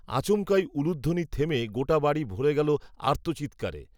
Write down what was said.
আচমকাই, উলুধ্বনি থেমে গোটা বাড়ি ভরে গেল, আর্তচিত্কারে